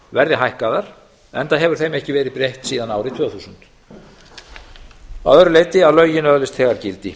verði hækkaðar enda hefur þeim ekki verið breytt síðan árið tvö þúsund að öðru leyti að lögin öðlist þegar gildi